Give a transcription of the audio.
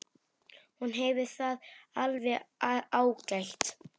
Hún hefur það alveg ágætt.